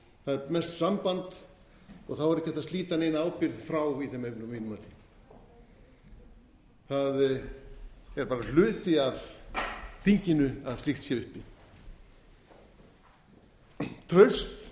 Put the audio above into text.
það er mest samband og þá er ekki hægt að slíta neina ábyrgð frá því sem er hérna að mínu mati það er bara hluti af þinginu að slíkt sé uppi traust